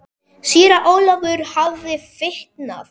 Síra Ólafur hafði fitnað.